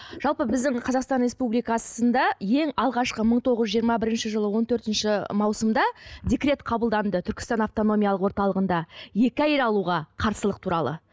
жалпы біздің қазақстан республикасында ең алғашқы мың тоғыз жиырма бірінші жылы он төртінші маусымда декрет қабылданды түркістан автономиялық орталығында екі әйел алуға қарсылық туралы